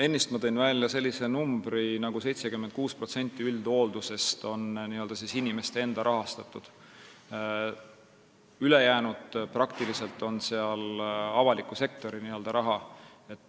Ennist tõin ma välja, et 76% üldhooldusest on inimeste enda rahastatud, ülejäänu on avaliku sektori raha.